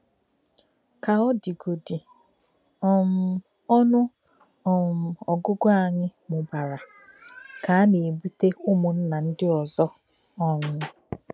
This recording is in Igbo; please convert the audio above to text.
Kà ọ dìgòdì, um ònù um ọgùgụ̀ anyị mùbara ka a na-ebùtè ụmụnna ndị ọzọ. um